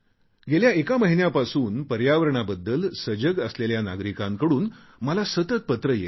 गेल्या एका महिन्यापासून पर्यावरणाबद्दल सजग असलेल्या नागरिकांकडून मला सतत पत्रे येत आहेत